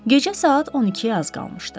Gecə saat 12-yə az qalmışdı.